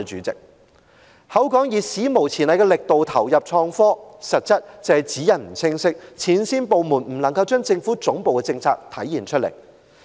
政府說要以"史無前例的力度投入創科"，實質則是指引不清晰，前線部門未能將政府總部的政策體現出來。